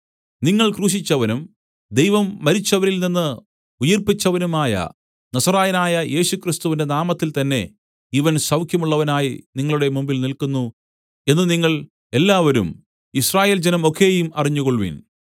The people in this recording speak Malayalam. നിങ്ങൾ ക്രൂശിച്ചവനും ദൈവം മരിച്ചവരിൽ നിന്നു ഉയിർപ്പിച്ചവനുമായ നസറായനായ യേശുക്രിസ്തുവിന്റെ നാമത്തിൽത്തന്നെ ഇവൻ സൗഖ്യമുള്ളവനായി നിങ്ങളുടെ മുമ്പിൽ നില്ക്കുന്നു എന്നു നിങ്ങൾ എല്ലാവരും യിസ്രായേൽജനം ഒക്കെയും അറിഞ്ഞുകൊൾവിൻ